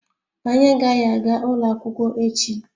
Anyị agaghị aga ụlọ akwụkwọ echi